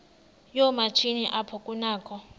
yoomatshini apho kunakho